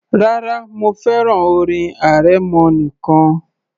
Rárá, mo fẹ́ràn orin arẹmọ nìkan